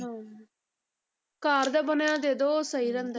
ਹਾਂ ਘਰ ਦਾ ਬਣਿਆ ਦੇ ਦਓ ਉਹ ਸਹੀ ਰਹਿੰਦਾ,